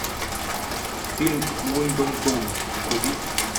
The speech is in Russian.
фильм уимблдон вруби